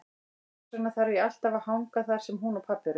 Þess vegna þarf ég alltaf að hanga þar sem hún og pabbi eru.